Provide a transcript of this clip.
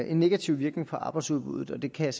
en negativ virkning på arbejdsudbuddet det kan jeg